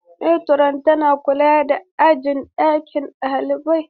Matron tana kula da jin daɗin ɗalibai.